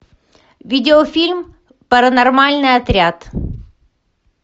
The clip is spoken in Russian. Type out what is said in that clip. видеофильм паранормальный отряд